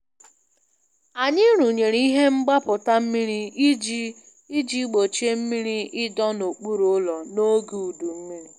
Anyị rụnyere ihe mgbapụta mmiri iji iji gbochie mmiri ịdọ n'okpuru ụlọ n'oge udu mmiri.